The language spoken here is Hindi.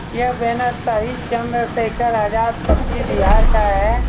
यह बैनर शहीद चन्द्रशेखर आजाद पश्चिम बिहार का है।